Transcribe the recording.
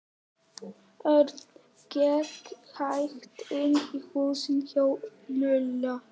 Örn gekk hægt inn í húsið hjá Lúlla.